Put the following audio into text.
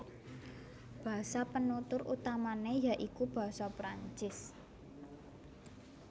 Basa penutur utamané ya iku basa Prancis